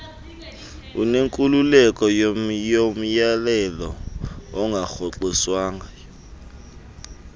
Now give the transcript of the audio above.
unenkululeko yomyolelo ongarhoxiswanga